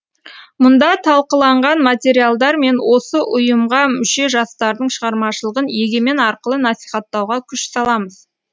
мұнда талқыланған материалдар мен осы ұйымға мүше жастардың шығармашылығын егемен арқылы насихаттауға күш саламыз